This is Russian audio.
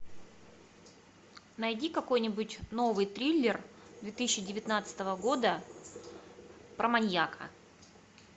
найди какой нибудь новый триллер две тысячи девятнадцатого года про маньяка